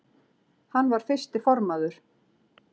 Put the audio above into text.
Hann var fyrsti formaður